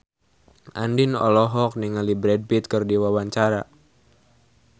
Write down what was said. Andien olohok ningali Brad Pitt keur diwawancara